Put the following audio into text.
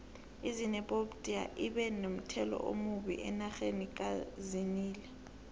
izinephobtiya ibe nomthelelo omumbi enxha kazinile